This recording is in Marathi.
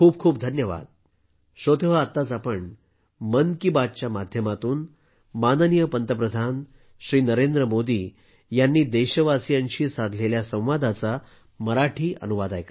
खूप खूप धन्यवाद